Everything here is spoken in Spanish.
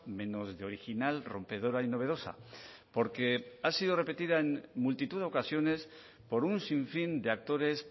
menos de original rompedora y novedosa porque ha sido repetida en multitud de ocasiones por un sinfín de actores